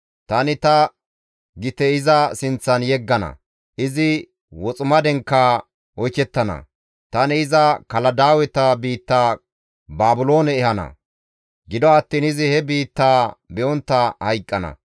Tani ta gite iza sinththan yeggana; izi woximadenkka oykettana; tani iza Kaladaaweta biitta Baabiloone ehana; gido attiin izi he biittaa be7ontta hayqqana.